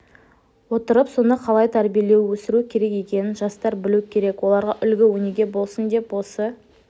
отырып соны қалай тәрбиелеу өсіру керек екенін жастар білу керек оларға үлгі-өнеге болсын деп осы